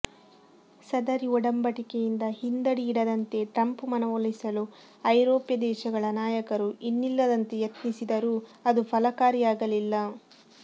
ಸದರಿ ಒಡಂಬಡಿಕೆಯಿಂದ ಹಿಂದಡಿ ಇಡದಂತೆ ಟ್ರಂಪ್ ಮನವೊಲಿಸಲು ಐರೋಪ್ಯ ದೇಶಗಳ ನಾಯಕರು ಇನ್ನಿಲ್ಲದಂತೆ ಯತ್ನಿಸಿದರೂ ಅದು ಫಲಕಾರಿಯಾಗಲಿಲ್ಲ